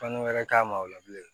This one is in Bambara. Fani wɛrɛ k'a ma o la bilen